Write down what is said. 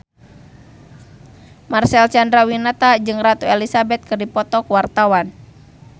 Marcel Chandrawinata jeung Ratu Elizabeth keur dipoto ku wartawan